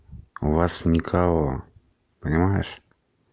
у вас никого понимаешь